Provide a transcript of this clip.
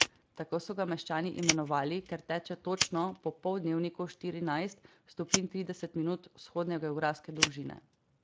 Tako so ga meščani imenovali, ker teče točno po poldnevniku štirinajst stopinj trideset minut vzhodne geografske dolžine.